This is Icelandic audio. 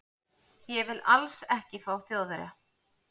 Ég vil ALLS ekki fá Þjóðverja.